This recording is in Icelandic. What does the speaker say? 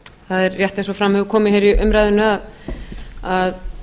það er rétt eins og fram hefur komið hér í umræðunni að